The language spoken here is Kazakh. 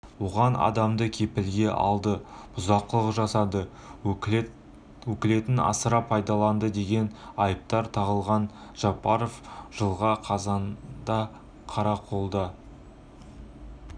оған адамды кепілге алды бұзақылық жасады өкілетін асыра пайдаланды деген айыптар тағылған жапаров жылғы қазанда қарақолда